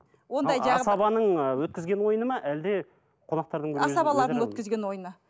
асабаның ы өткізген ойыны ма әлде қонақтардың асабалардың өткізген ойыны